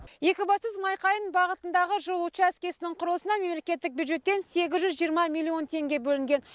екібастұз майқайың бағытындағы жол учаскесінің құрылысына мемлекеттік бюджеттен сегіз жүз жиырма миллион теңге бөлінген